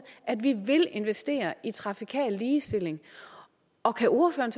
at vi vil investere i trafikal ligestilling og kan ordføreren